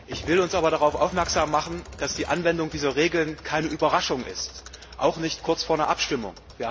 Ich möchte aber darauf aufmerksam machen, dass die Anwendung dieser Regeln keine Überraschung ist, auch nicht kurz vor einer Abstimmung.